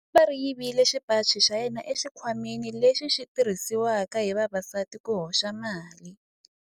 Khamba ri yivile xipaci xa yena exikhwameni lexi xi tirhisiwaka hi vavasati ku hoxela mali.